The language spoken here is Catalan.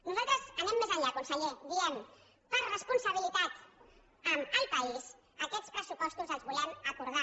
nosaltres anem més enllà conseller i diem per responsabilitat amb el país aquests pressupostos els volem acordar